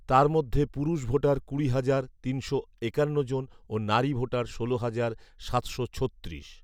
তার মধ্যে পুরুষ ভোটার কুড়ি হাজার তিনশো একান্ন জন ও নারী ভোটার ষোল হাজার সাতশো ছত্রিশ